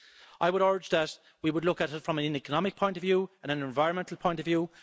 I would urge that we would look at it from an economic point of view and an environmental point of view.